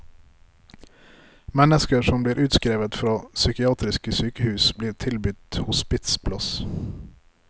Mennesker som blir utskrevet fra psykiatriske sykehus, blir tilbudt hospitsplass.